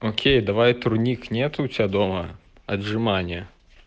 окей давай турник нету у тебя дома отжимания